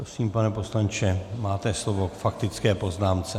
Prosím, pane poslanče, máte slovo k faktické poznámce.